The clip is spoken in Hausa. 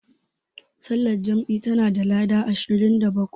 Sallar jam'i tana da lada ashirin da bakwai.